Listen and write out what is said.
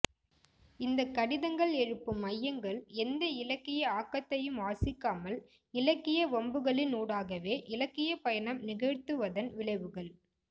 இந்த கடிதங்கள் எழுப்பும் ஐயங்கள் எந்த இலக்கிய ஆக்கத்தையும் வாசிக்காமல் இலக்கிய வம்புகளினூடாகவே இலக்கியப்பயணம் நிகழ்த்துவதன் விளைவுகள்